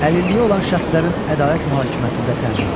Əlilliyi olan şəxslərin ədalət mühakiməsində təminatı.